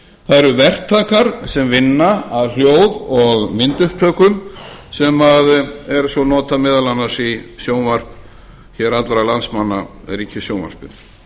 það eru verktakar sem vinna að hljóð og myndupptökum sem er svo notað meðal annars í sjónvarp hér allra landsmanna ríkissjónvarpið